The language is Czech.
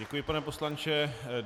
Děkuji, pane poslanče.